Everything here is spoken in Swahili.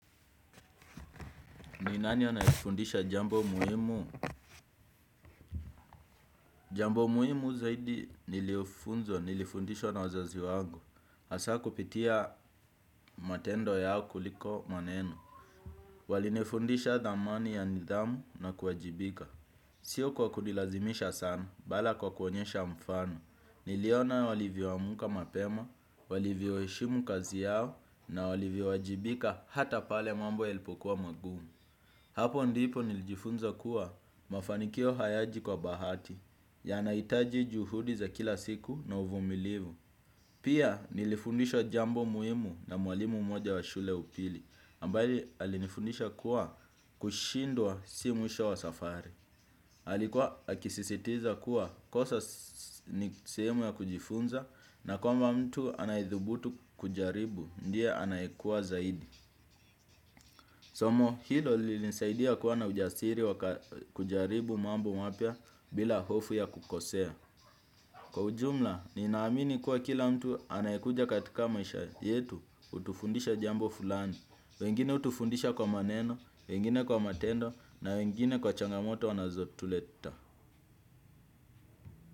Ni nani ananifundisha jambo muhimu? Jambo muhimu zaidi nilifundishwa na wazazi wangu. Hasa kupitia matendo yao kuliko maneno. Walinifundisha dhamani ya nidhamu na kuwajibika. Sio kwa kunilazimisha sana, bali kwa kuonyesha mfano. Niliona walivyoamka mapema, walivyoheshimu kazi yao na walivyowajibika hata pale mambo yalipokuwa magumu. Hapo ndipo nilijifunza kuwa mafanikio hayaji kwa bahati yanahitaji juhudi za kila siku na uvumilivu. Pia nilifundishwa jambo muhimu na mwalimu mmoja wa shule upili ambaye alinifundisha kuwa kushindwa si mwisho wa safari. Alikuwa akisisitiza kuwa kosa ni sehemu ya kujifunza na kwamba mtu anayethubutu kujaribu ndiye anayekua zaidi. Somo hilo lilinisaidia kuwa na ujasiri wa kujaribu mambo mapya bila hofu ya kukosea. Kwa ujumla, ninaamini kuwa kila mtu anayekuja katika maisha yetu hutufundisha jambo fulani. Wengine hutufundisha kwa maneno, wengine kwa matendo na wengine kwa changamoto wanazotuleta.